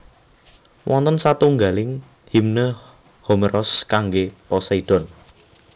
Wonten satunggaling Himne Homeros kanggé Poseidon